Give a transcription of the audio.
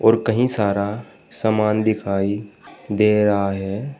और कहीं सारा सामान दिखाई दे रहा है।